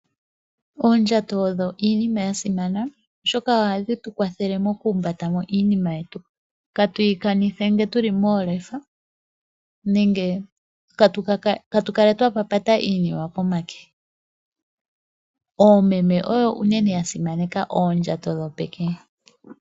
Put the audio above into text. Oondjato odho iinima yasimana oshoka odho hadhi tukwathelemo okuumbata iinima yetu katuyi kanithe uuna tuli moolefa nenge katuyi papate pomade. Oomeme oyo uunene yasimaneka oondjato dhopeke.